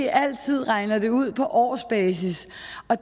altid regner det ud på årsbasis